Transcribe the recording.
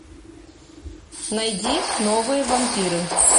найди новые вампиры